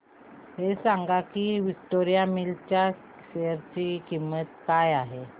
हे सांगा की विक्टोरिया मिल्स च्या शेअर ची किंमत काय आहे